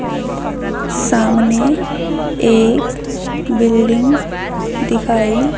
सामने एक बिल्डिंग दिखाई--